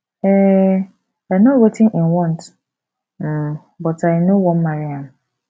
um i know wetin im want um but i no wan marry am